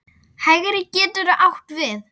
Hægri getur átt við